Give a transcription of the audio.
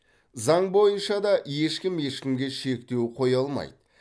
заң бойынша да ешкім ешкімге шектеу қоя алмайды